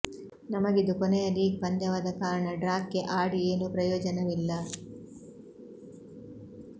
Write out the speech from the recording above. ನಮಗಿದು ಕೊನೆಯ ಲೀಗ್ ಪಂದ್ಯವಾದ ಕಾರಣ ಡ್ರಾಕ್ಕೆ ಆಡಿ ಏನೂ ಪ್ರಯೋಜನವಿಲ್ಲ